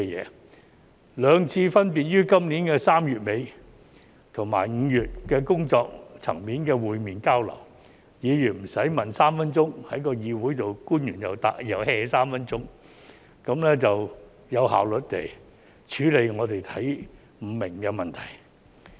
在兩次分別於今年3月底和5月工作層面上的會面交流期間，議員不用在議會提問3分鐘，官員又 "hea"3 分鐘，得以有效率地處理我們看不懂的問題。